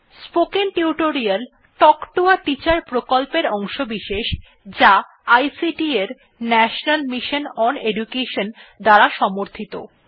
spoken tutorial talk to a teacher প্রকল্পের অংশবিশেষ যা আইসিটি এর ন্যাশনাল মিশন ওন এডুকেশন দ্বারা সমর্থিত